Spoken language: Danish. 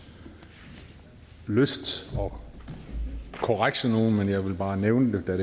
lyst at korrekse nogen men jeg vil bare nævne det da